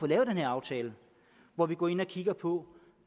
lavet den her aftale hvor vi går ind og kigger på